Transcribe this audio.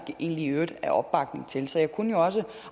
i øvrigt er opbakning til så jeg kunne jo også